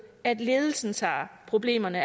at ledelsen tager problemerne